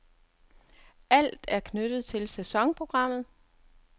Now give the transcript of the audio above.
Alt er knyttet til sæsonprogrammet.